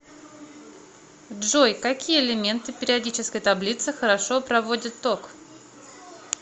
джой какие элементы периодической таблицы хорошо проводят ток